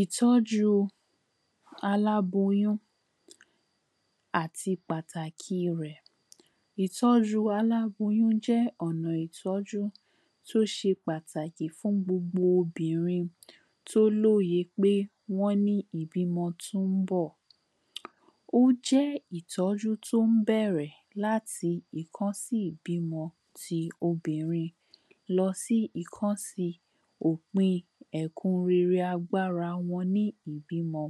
um Ìtó̩ju aláboyún àti pàtàki rè̩. Ìtó̩ju aláboyún jé̩ ò̩nà ìtó̩jú tó s̩e pàtàkì fún gbogbo obìnrin tó lóye pé wó̩n ní ìbímo̩ tó ń bò̩. Ó jé̩ ìtó̩jú tó ń bé̩è̩rè̩ láti ìkó̩nsí ìbímo̩ ti obìrin lo̩ sí ìkó̩nsí òpin è̩kan rere agbára wo̩n ní ìbímo̩.